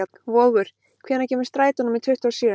Vogur, hvenær kemur strætó númer tuttugu og sjö?